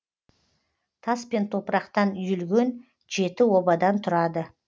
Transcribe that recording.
тас пен топырақтан үйілген жеті обадан тұрады